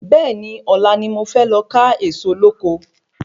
Bẹ́ẹ̀ni, Ọ̀la ni mo fé lọ ká Ẹ̀ẹ̀so lóko